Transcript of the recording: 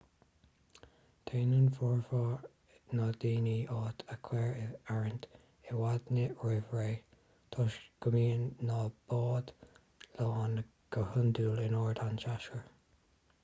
déanann formhór na ndaoine áit a chur in áirithint i bhfad roimh ré toisc go mbíonn na báid lán go hiondúil in ard an tséasúir